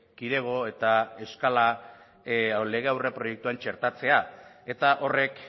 kidego eta eskala lege aurreproiektuen txertatzea eta horrek